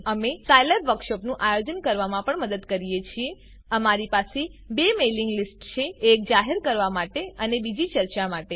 અમે સાયલેબ વર્કશોપોનું આયોજન કરવામાં પણ મદદ કરીએ છીએ અમારી પાસે બે મેઇલિંગ લીસ્ટ છે એક જાહેર કરવા માટે અને બીજી ચર્ચા માટે